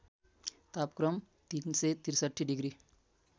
तापक्रम ३६३ डिग्री